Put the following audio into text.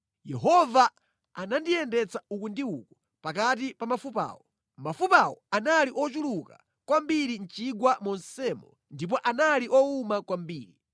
Yehova anandiyendetsa uku ndi uku pakati pa mafupawo. Mafupawo anali ochuluka kwambiri mʼchigwa monsemo ndipo anali owuma kwambiri.